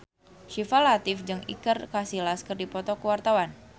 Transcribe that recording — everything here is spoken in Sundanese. Syifa Latief jeung Iker Casillas keur dipoto ku wartawan